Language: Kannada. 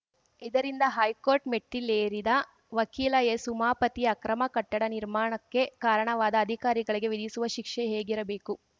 ಇದರಿಂದ ಹೈಕೋರ್ಟ್‌ ಮೆಟ್ಟಿಲೇರಿದ್ದ ವಕೀಲ ಎಸ್‌ಉಮಾಪತಿ ಅಕ್ರಮ ಕಟ್ಟಡ ನಿರ್ಮಾಣಕ್ಕೆ ಕಾರಣವಾದ ಅಧಿಕಾರಿಗಳಿಗೆ ವಿಧಿಸುವ ಶಿಕ್ಷೆ ಹೇಗಿರಬೇಕು